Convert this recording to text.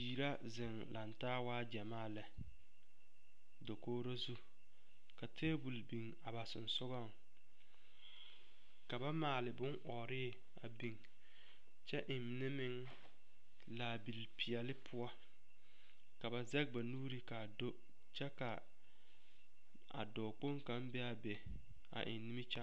Biiri la zeŋ lantaa waa ɡyamaa lɛ dakoɡro zu ka teebul biŋ a ba sonsoɡaŋ ka ba maale bonɔɔre a biŋ kyɛ e mine meŋ laabilipeɛle poɔ ka ba zɛɡe ba nuuri ka a do kyɛ ka a dɔɔkpoŋ kaŋ be a be a eŋ nimikyaane.